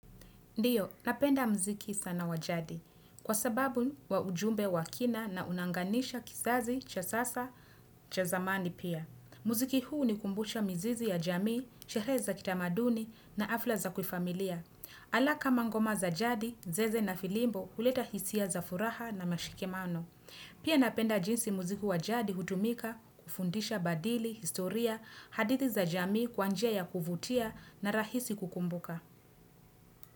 Ndiyo, napenda mziki sana wa jadi kwa sababu wa ujumbe wa kina na unaanganisha kisazi cha sasa cha zamani pia. Mziki huu hunikumbusha mizizi ya jamii, sherehe za kitamaduni na afla za kufamilia. Ala kama ngoma za jadi, zeze na filimbo huleta hisia za furaha na mashikemano. Pia napenda jinsi mziki wa jadi hutumika kufundisha badili, historia, hadithi za jamii kwa njia ya kuvutia na rahisi kukumbuka.